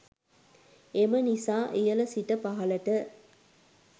එම නිසා ඉහල සිට පහලට